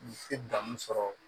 Se danni sɔrɔ